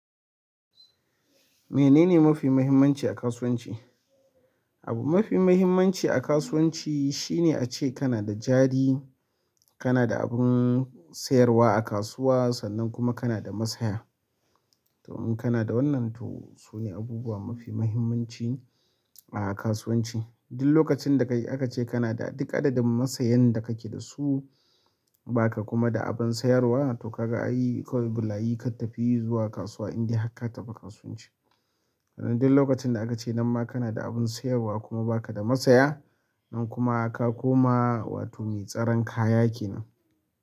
Menene mafi muhimmanci a kasuwanci? Abu mafi muhimmanci a kasuwanci shine ace kana da jari, kana da abin sayarwa a kasuwa sannan kuma kana da masaya. To in kana da wannan to su ne abubuwa mafi muhimmanci a kasuwanci. Duk lokacin da aka ce kana da duk adadin masayan da kake da su, ba ka kuma da abin sayarwa to ka ga ai, kawai bulayi ka tafi zuwa kasuwa in dai har ka taɓa kasuwanci. Sannan duk lokacin da aka nan ma kana da abun sayarwa ba kada masaya ka koma mai tsaran kaya kenan.